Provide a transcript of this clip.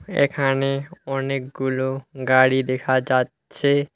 এখানে অনেকগুলো গাড়ি দেখা যাচ্ছে।